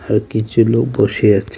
আর কিছু লোক বসে আছে.